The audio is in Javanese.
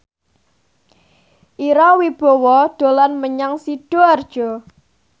Ira Wibowo dolan menyang Sidoarjo